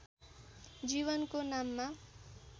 जीवनको नाममा